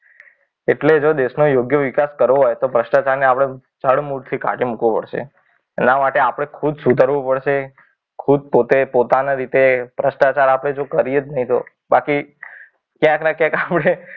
એટલે જો દેશનો યોગ્ય વિકાસ કરો હોય તો ભ્રષ્ટાચારને આપણે જડમૂળથી કાઢી મૂકવો પડશે. એના માટે આપણે ખૂબ સુધરવું પડશે. ખૂબ પોતે પોતાના રીતે ભ્રષ્ટાચાર આપણે જો કરીએ જ નહીં. તો બાકી ક્યાંક ને ક્યાંક આપણે